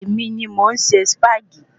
Èmi ni mọ̀ ń se Sipagi